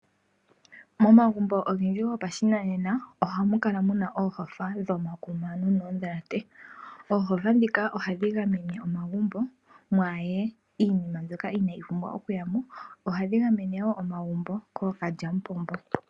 Momagumbo ogendji gopashinanena ohamu kala oohofa dhomakuma nogoondhalate. Oohofa ndhika ohadhi gamene omagumbo mwaa ye iinima mbyoka onayi oumbwa okuya mo. Ohadhi gamene wo omagumbo kookalyamupombo.